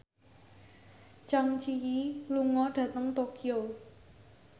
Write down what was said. Zang Zi Yi lunga dhateng Tokyo